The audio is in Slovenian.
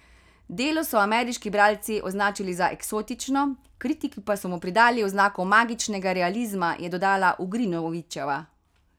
Delo so ameriški bralci označili za eksotično, kritiki pa so mu pridali oznako magičnega realizma, je dodala Ugrinovićeva.